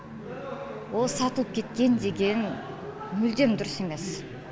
ол сатылып кеткен деген мүлдем дұрыс емес